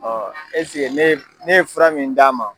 eseke ne ye fura min d'a ma